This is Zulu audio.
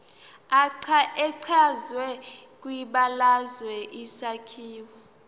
echazwe kwibalazwe isakhiwo